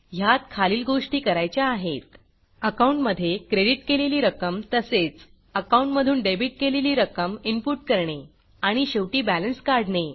ह्यात खालील गोष्टी करायच्या आहेत अकाउंटमधे क्रेडिट केलेली रक्कम तसेच अकाऊंट मधून डेबिट केलेली रक्कम इनपुट करणे आणि शेवटी बॅलन्स काढणे